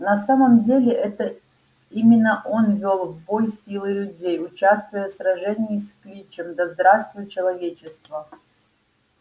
на самом деле это именно он вёл в бой силы людей участвуя в сражении с кличем да здравствует человечество